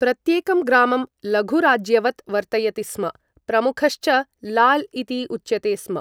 प्रत्येकं ग्रामं लघुराज्यवत् वर्तयति स्म, प्रमुखश्च लाल् इति उच्यते स्म।